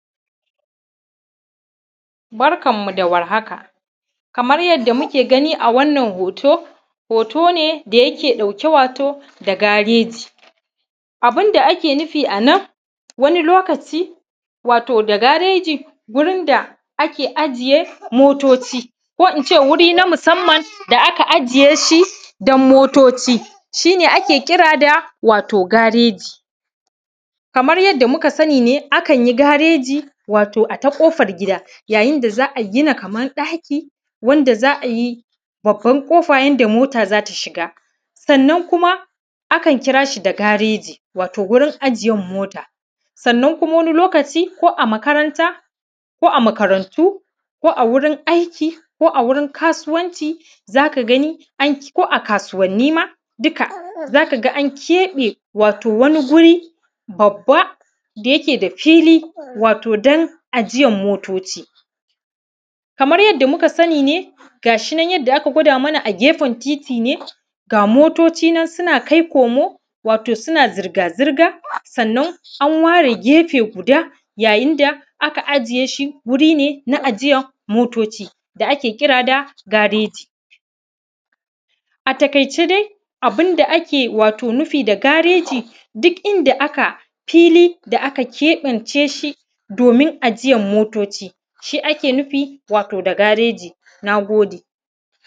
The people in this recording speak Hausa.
Barkanmu da warhaka. Kamar yadda muke gani a wannan hoto, hoto ne da yake ɗauke wato da gareji. Abun da ake nufi a nan, wani lokaci ne wato da gareji, wurin da ake ajiye motoci, ko in ce wuri na musamman da aka ƙira shi domin ajiyar motoci, shi ne ake kira da gareji. Kamar yadda muka sani ne, akan yi gareji wato a ta ƙofar gida, yayin da za a gina kamar ɗaki, wanda za a sa babbar ƙofa yanda mota za ta shiga. Akan kira shi da gareji wurin ajiyan mota. Kuma wani lokaci, ko a makaranta, ko a makarantu, ko a gurin aiki, ko wurin kasuwanci, za ka gani an kebe wato wani Guri babba da yake da fili, domin ajiyan motoci. Kamar yadda muka sani ne, yanda aka gwada mana a gefen titi, ga motoci nan suna kai komo, wato suna zirga-zirga. Sannan an ware gefe guda, yayin da aka ajiye shi wuri ne na ajiyan motoci da aka kira da gareji. A taƙaice, abun da ake nufi da gareji duk inda aka fili da aka kebe shi domin ajiyan motoci, shi ake nufi da gareji. Na gode.